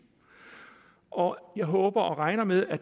og jeg håber og regner med at